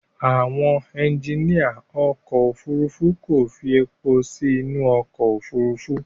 Àwọn ẹjiníà ọkọ̀ Òfurufú kò fi èpò sí inú ọkọ̀ Òfurufú.